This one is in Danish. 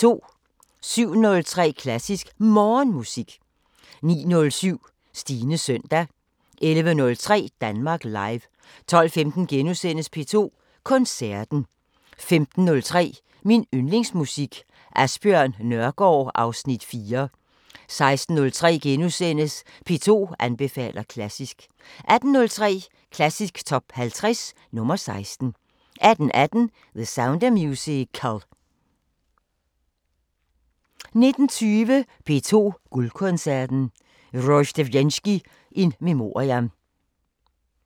07:03: Klassisk Morgenmusik 09:07: Stines søndag 11:03: Danmark Live 12:15: P2 Koncerten * 15:03: Min Yndlingsmusik: Asbjørn Nørgaard (Afs. 4) 16:03: P2 anbefaler klassisk * 18:03: Klassisk Top 50 – nr. 16 18:18: The Sound of Musical 19:20: P2 Guldkoncerten: Rozhdestvensky in memoriam